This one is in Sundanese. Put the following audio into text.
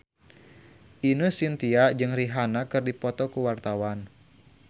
Ine Shintya jeung Rihanna keur dipoto ku wartawan